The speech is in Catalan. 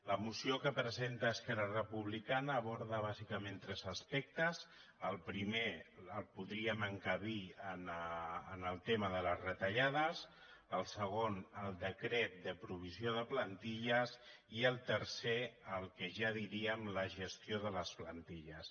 la moció que presenta esquerra republicana aborda bàsicament tres aspectes el primer el podríem enca·bir en el tema de les retallades el segon el decret de provisió de plantilles i el tercer el que ja en diríem la gestió de les plantilles